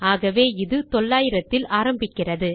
ஆகவே இது 900 இல் ஆரம்பிக்கிறது